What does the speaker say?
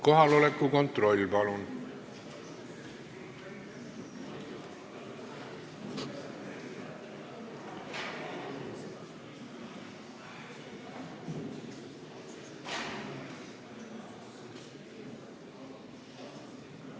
Kohaloleku kontroll, palun!